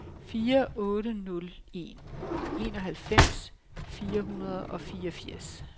fire otte nul en enoghalvfems fire hundrede og fireogfirs